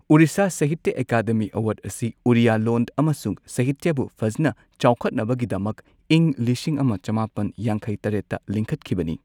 Orissa Sahitya academy award ꯑꯁꯤ ꯑꯣꯔꯤꯌꯥ ꯂꯣꯟ ꯑꯃꯁꯨꯡ ꯁꯥꯍꯤꯇ꯭ꯌꯕꯨ ꯐꯖꯅ ꯆꯥꯎꯈꯠꯅꯕꯒꯤꯗꯃꯛ ꯏꯪ ꯂꯤꯁꯤꯡ ꯑꯃ ꯆꯃꯥꯄꯟ ꯌꯥꯡꯈꯩ ꯇꯔꯦꯠꯇ ꯂꯤꯡꯈꯠꯈꯤꯕꯅꯤ꯫